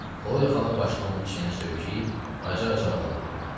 Xloya xala başını onun çiyninə söykəyib acı-acı ağladı.